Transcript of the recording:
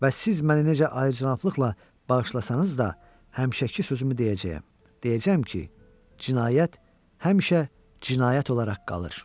Və siz məni necə əyicənablıqla bağışlasanız da, həmişəki sözümü deyəcəyəm, deyəcəyəm ki, cinayət həmişə cinayət olaraq qalır.